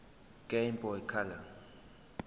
game boy color